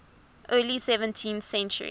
early seventeenth century